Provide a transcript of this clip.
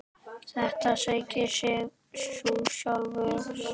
Þetta segir sig jú sjálft!